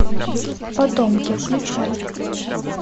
потомки включай